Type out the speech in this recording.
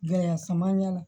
Gɛlɛya caman y'a la